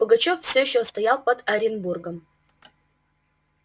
пугачёв всё ещё стоял под оренбургом